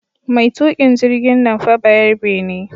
Mai tuƙin jirgin nan fa bayarbe ne